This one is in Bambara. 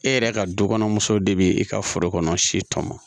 E yɛrɛ ka du kɔnɔ muso de bi i ka foro kɔnɔ si tɔnbɔ